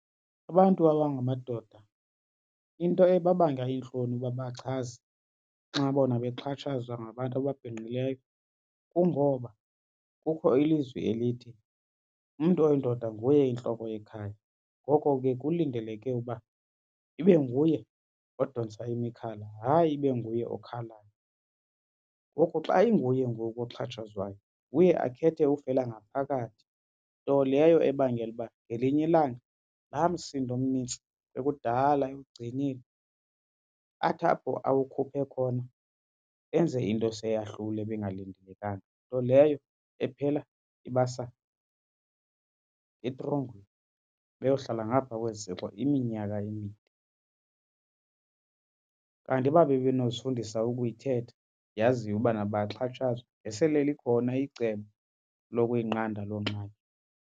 Abantu abangamadoda into ebabanga iintloni uba bachaze xa bona bexhatshazwa ngabantu ababhinqileyo kungoba kukho ilizwi elithi umntu oyindoda nguye intloko yekhaya. Ngoko ke kulindeleke uba ibe nguye odontsa imikhala hayi ibe nguye okhalayo. Ngoko xa inguye ngoku oxhatshazwayo uye akhethe ufela ngaphakathi, nto leyo ebangela uba ngelinye ilanga laa msindo mnintsi ekudala ewugcinile athi apho awukhuphe khona enze into eseyahlule ebingalindelekanga. Nto leyo ephela ibasa etrongweni beyohlala ngapha kwezitshixo iminyaka emide. Kanti uba bebenozifundisa ukuyithetha yaziwe ubana bayaxhatshazwa ngesele likhona icebo lokuyinqanda loo ngxaki.